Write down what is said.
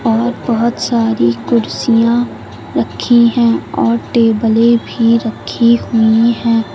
और बहोत बहोत सारी कुर्सियां रखी हैं और टेबलें भी रखी हुई हैं।